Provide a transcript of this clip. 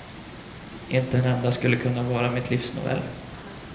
Inte en enda skulle kunna vara mitt livs novell.